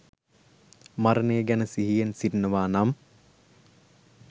මරණය ගැන සිහියෙන් සිටිනවා නම්,